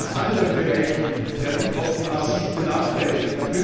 Noch in anderen Bereichen werden die Kopten massiv benachteiligt.